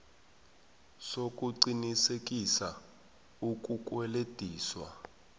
sokuqinisekisa ukukwelediswa